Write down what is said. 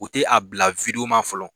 U tɛ a bila ma fɔlɔ